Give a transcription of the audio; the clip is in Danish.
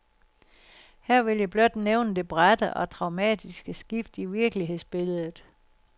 Her vil jeg blot nævne det bratte og traumatiske skift i virkelighedsbilledet.